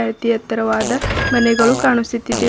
ಅತಿ ಎತ್ತರವಾದ ಮನೆಗಳು ಕಾಣಿಸುತ್ತಿದವೆ ಜನರ್--